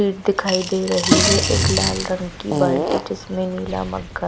gate दिखाई दे रही है एक लाल रंग की बाल्टी जिसमें नीला मग्घा --